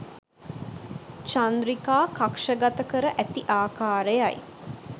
චන්ද්‍රිකා කක්ෂගත කර ඇති ආකාරයයි